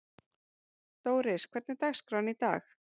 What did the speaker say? Dóris, hvernig er dagskráin í dag?